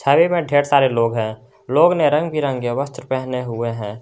छवि में ढेर सारे लोग है लोग ने रंग बिरंगे वस्त्र पहने हुए है।